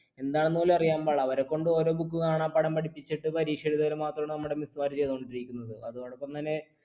എന്താണെന്ന് പോലും അറിയാൻ പാടില്ല അവരെക്കൊണ്ട് ഓരോ book കാണാപാഠം പഠിപ്പിച്ചിട്ട് പരീക്ഷ എഴുതിപ്പിക്കൽ മാത്രമാണ് നമ്മുടെ miss മാർ ചെയ്തു കൊണ്ടിരിക്കുന്നത്. അതോടൊപ്പം തന്നെ